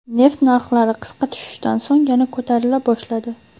Neft narxlari qisqa tushishdan so‘ng yana ko‘tarila boshladi.